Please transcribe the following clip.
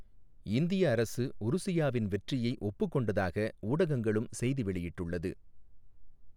இந்திய அரசு உருசியாவின் வெற்றியை ஒப்புக் கொண்டதாக ஊடகங்களும் செய்தி வெளியிட்டுள்ளது.